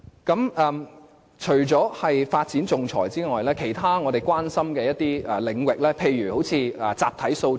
除了仲裁方面的發展外，其他我們所關注的領域亦包括集體訴訟。